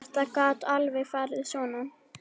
Þetta gat alveg farið svona.